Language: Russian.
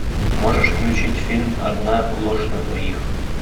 можешь включить фильм одна ложь на двоих